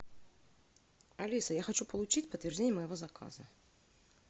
алиса я хочу получить подтверждение моего заказа